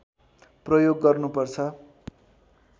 प्रयोग गर्नुपर्छ